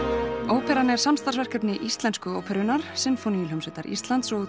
óperan er samstarfsverkefni Íslensku óperunnar Sinfóníuhljómsveitar Íslands og